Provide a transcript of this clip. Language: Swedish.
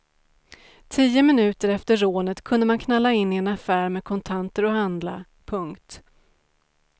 Tio minuter efter rånet kunde man knalla in i en affär med kontanter och handla. punkt